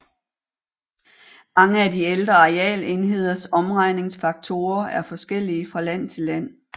Mange af de ældre arealenheders omregningsfaktorer er forskellige fra land til land